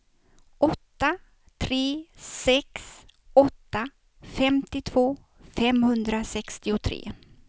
åtta tre sex åtta femtiotvå femhundrasextiotre